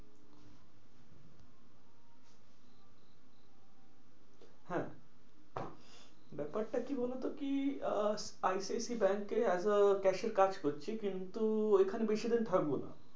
হ্যাঁ ব্যাপারটা কি বলতো? কি আহ I C I C I ব্যাঙ্কে as a cashier কাজ করছি। কিন্তু ওইখানে বেশি দিন থাকবো না।